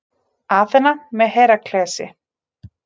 Aþena með Heraklesi.